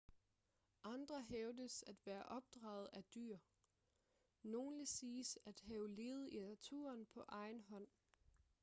andre hævdes at være opdraget af dyr nogle siges at have levet i naturen på egen hånd